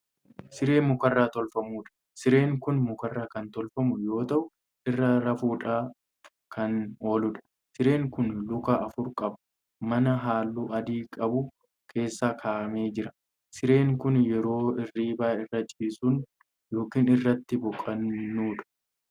Siree mukarraa tolfamuudha. sireen Kuni mukarraa Kan tolfamu yoo ta'u irra rafuudhaaf Kan ooludha. sireen Kun Luka afur qaba. mana halluu adii qabu keessa kaa'amee jira. sireen Kan yeroo irriibaa irra ciisnu yookaan irratti boqannuudha.